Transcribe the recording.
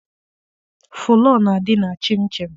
Fụlọọ na-adị na chịnchịn.